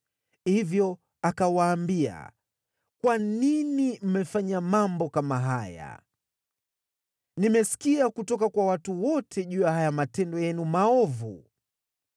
Hivyo akawaambia, “Kwa nini mmefanya mambo kama haya? Nimesikia kutoka kwa watu wote juu ya haya matendo yenu maovu.